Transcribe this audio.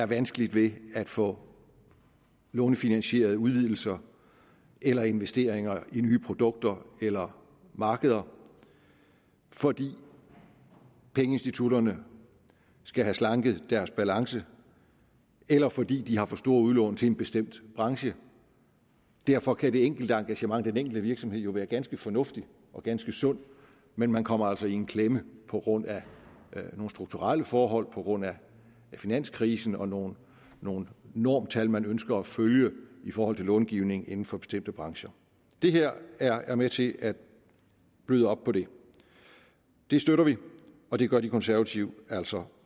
vanskeligt ved at få lånefinansierede udvidelser eller investeringer i nye produkter eller markeder fordi pengeinstitutterne skal have slanket deres balance eller fordi de har for store udlån til en bestemt branche derfor kan det enkelte engagement med den enkelte virksomhed jo være ganske fornuftigt og ganske sundt men man kommer altså i en klemme på grund af nogle strukturelle forhold på grund af finanskrisen og nogle nogle normtal man ønsker at følge i forhold til långivning inden for bestemte brancher det her er er med til at bløde op på det det støtter vi og det gør de konservative altså